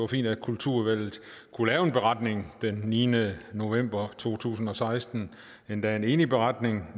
fint at kulturudvalget kunne lave en beretning den niende november to tusind og seksten endda en enig beretning